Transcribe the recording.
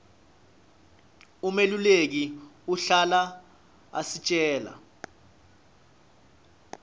umeluleki uhlala asitjela